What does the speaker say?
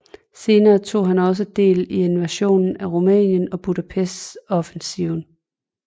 Senere tog han også del i invasionen af Rumænien og Budapest offensiven